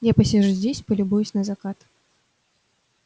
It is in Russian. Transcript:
я посижу здесь полюбуюсь на закат